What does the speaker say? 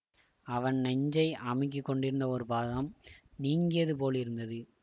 அவன் நெஞ்சை அமுக்கிக் கொண்டிருந்த ஒரு பாகம் நீங்கியது போலிருந்தது